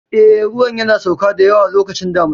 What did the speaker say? Eh, ruwan yana sauka da yawa lokacin damuna.